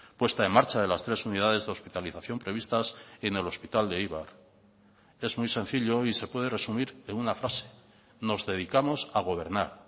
puesta en marcha de las tres unidades de hospitalización previstas en el hospital de eibar es muy sencillo y se puede resumir en una frase nos dedicamos a gobernar